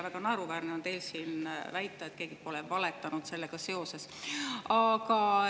Väga naeruväärne on teil siin väita, et keegi pole sellega seoses valetanud.